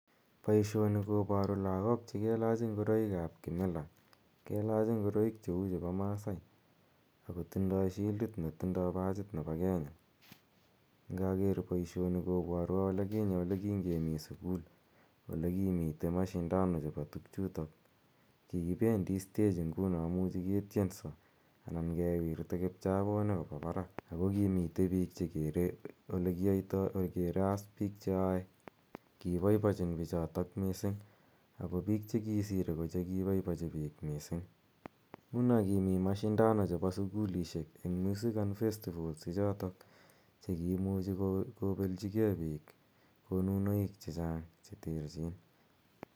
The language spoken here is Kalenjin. Poishoni koparu lagok che kelach ngoroik ap kimila. Kelach ngoroik che u ni pa Masai ako tindai shildit ne tindai pachit nepo Kenya. Ngaker poishoni kopwatwa ole kinye kinge mi sukul ole kimitei mashindano chepo tugchutok. Kikipendi stage nguno muchi ketyenso anan kewirta kipchaponik kopa parak. Ako ki mitei piik che kere as piik che yae, Kipaipaichin pichotok missing' ako piik che kisire ko che kipaipachi piik missing'. Nguno ko kimi mashindano chepo sukulishek eng' Music and Festivals ichotok che kiimuchi kopelchige piik konunoik che chang' che terchin.